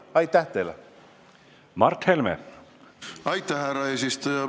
Aitäh, härra eesistuja!